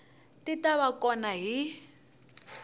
ti ta va kona hi